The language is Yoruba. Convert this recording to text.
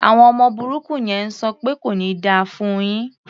Àwọn ọmọ burúkú yẹn ń sọ pẹ́ "kò ní da fún un yín".